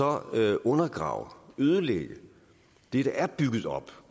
at undergrave ødelægge det der er bygget op